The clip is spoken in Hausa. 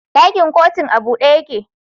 Dakin kotun a bude yake